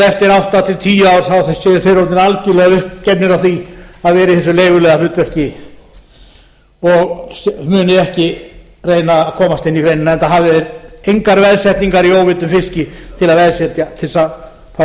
eftir átta til tíu ár séu þeir orðnir algerlega uppgefnir á því að vera í þessu leiguliðahlutverki og muni ekki reyna að komast inn i greinina enda hafi verið þungar veðsetningar í óveiddum fiski til að fá